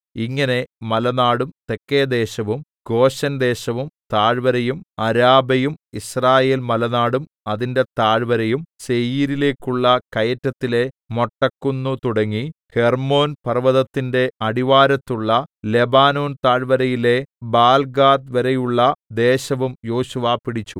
ഇങ്ങനെ മലനാടും തെക്കേദേശവും ഗോശെൻദേശവും താഴ്‌വരയും അരാബയും യിസ്രായേൽമലനാടും അതിന്റെ താഴ്‌വരയും സേയീരിലേക്കുള്ള കയറ്റത്തിലെ മൊട്ടക്കുന്നു തുടങ്ങി ഹെർമ്മോൻ പർവ്വതത്തിന്റെ അടിവാരത്തുള്ള ലെബാനോൻ താഴ്‌വരയിലെ ബാൽഗാദ് വരെയുള്ള ദേശവും യോശുവ പിടിച്ചു